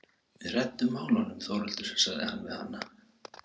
Við reddum málunum Þórhildur, sagði hann við hana.